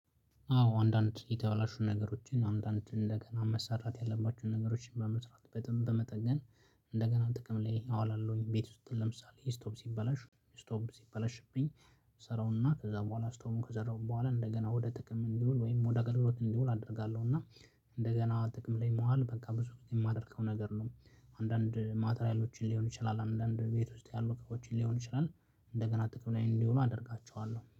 አዎ አንድአንድ የተበላሹ ነገሮዎችን አንድአንድ እንደገና መሰራት ያለባቸውን ነገሮዎችን በመስራት በጣም በመጠገን እንደገና ጥቅም ላይ አውላለሁኝ። ቤት ውስጥ ለምሳሌ ስቶፍ ሲበላሽ ስቶፍ ሲበላሽብኝ እሰራውና ከዛ በኋላ ስቶፉውን ከሰራሁ በኋላ እንደገና ወደ ጥቅም እንዲውል ወይም ወደ አገልግሎት እንዲውል አደርጋለሁ። እና እንደገና ጥቅም ላይ መዋል በቃ ብዙ የማደርገው ነገር ነው አንድአንድ 'ማቴሪያሎችን' ሊሆን ይችላል አንድአንድ ቤት ውስጥ ያሉ ምግቦችን ሊሆን ይችላል እንደገና ጥቅም ላይ እንዲሆኑ አደርጋቸዋለሁ።